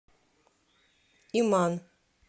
иман